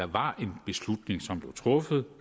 var en beslutning som blev truffet